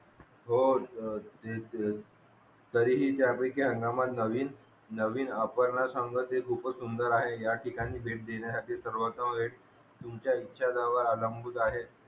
हो ए तरीही तया पैकी अंदमान लावील नवीन आपर्णना सांगत ते खूपच सुंदर आहेत या ठिकाणी भेट देण्यासाठी सर्वस्व होईल तुमचा इच्छा जोवर आवलंबून आहेत